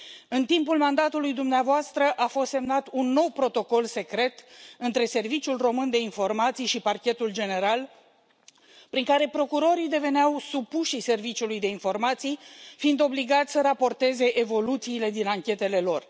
În timpul mandatului dumneavoastră a fost semnat un nou protocol secret între Serviciul Român de Informații și Parchetul General, prin care procurorii deveneau supușii Serviciului de Informații, fiind obligați să raporteze evoluțiile din anchetele lor.